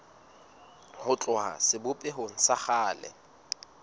ho tloha sebopehong sa kgale